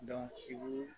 Dɔnku